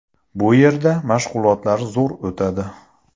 Bu yerda mashg‘ulotlar zo‘r o‘tadi.